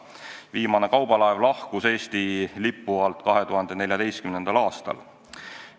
Viimane kaubalaev lahkus Eesti lipu alt 2014. aastal.